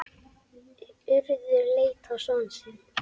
Urður leit á son sinn.